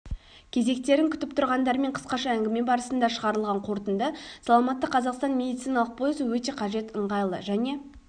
кезектерін күтіп тұрғандармен қысқаша әңгіме барысында шығарылған қорытынды саламатты қазақстан медициналық пойызы өте қажет ыңғайлы және